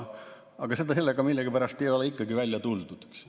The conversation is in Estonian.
Aga sellega millegipärast ei ole ikkagi välja tuldud.